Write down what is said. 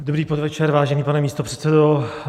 Dobrý podvečer, vážený pane místopředsedo.